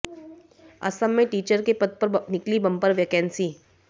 असम में टीचर के पद पर निकली बंपर वैकेंसी